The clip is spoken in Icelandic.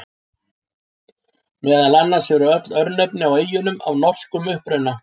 Meðal annars eru öll örnefni á eyjunum af norskum uppruna.